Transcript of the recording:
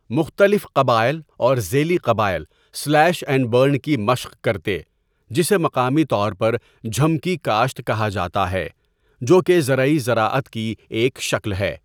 مختلف قبائل اور ذیلی قبائل سلیش اینڈ برن کی مشق کرتے، جسے مقامی طور پر جھم کی کاشت کہا جاتا ہے جو کہ زرعی زراعت کی ایک شکل ہے۔